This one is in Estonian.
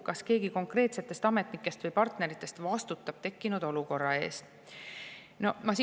Kas keegi konkreetsetest ametnikest või partneritest vastutab tekkinud olukorra eest?